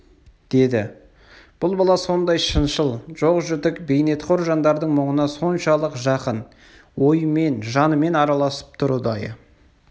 деді бұл бала сондай шыншыл жоқ-жітік бейнетқор жандардың мұңына соншалық жақын ойымен жанымен араласып тұр ұдайы